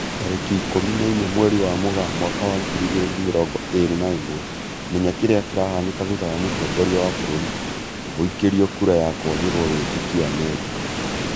Tarĩki ikũmi na inya mweri wa Mũgaa mwaka wa ngiri igĩri na mĩrongo ĩri na ĩmwe, Menya kĩrĩa kĩrahanĩka thutha wa mũtongoria wa bũrũri guikĩrio kura ya kwagĩrwo wĩtĩkio Amerika